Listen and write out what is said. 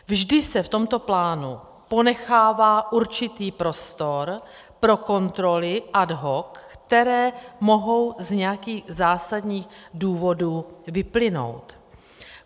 Vždy se v tomto plánu ponechává určitý prostor pro kontroly ad hoc, které mohou z nějakých zásadních důvodů vyplynout.